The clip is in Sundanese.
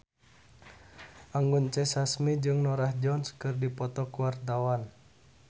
Anggun C. Sasmi jeung Norah Jones keur dipoto ku wartawan